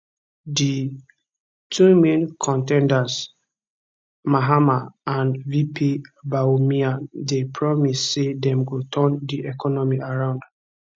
di two main con ten ders mahama and vp bawumia dey promise say dem go turn di economy around